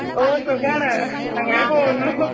ഓ സുഗാണ് അങ്ങനെ പോകുന്നു.